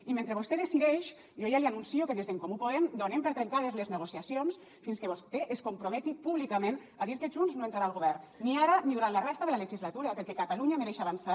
i mentre vostè decideix jo ja li anuncio que des d’en comú podem donem per trencades les negociacions fins que vostè es comprometi públicament a dir que junts no entrarà al govern ni ara ni durant la resta de la legislatura perquè catalunya mereix avançar